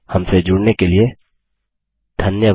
हमसे जुड़ने के लिए धन्यवाद